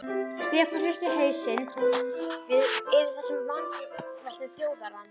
Stefán hristi hausinn yfir þessum vangaveltum Þjóðverjans.